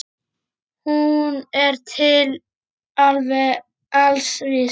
Hún er til alls vís.